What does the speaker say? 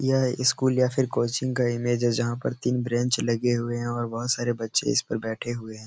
यह स्कुल या फिर कोचिंग का इमेज है। जहाँ पर तीन ब्रेंच लगे हुए है और बोहोत सरे बच्चे इस पर बैठे हुए हैं।